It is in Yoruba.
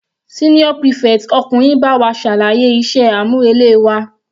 Senior prefect ọkùnrin bá wa ṣàlàyé iṣẹ́ àmúrelé wa.